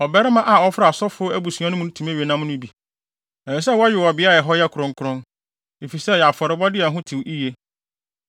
Ɔbarima a ɔfra asɔfo abusua mu no mu tumi we nam no bi. Ɛsɛ sɛ wɔwe wɔ beae a ɛhɔ yɛ kronkron, efisɛ ɛyɛ afɔrebɔde a ɛho tew yiye.